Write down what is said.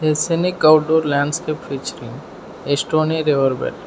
A scenic outdoor landscape featuring which a stoney river belt.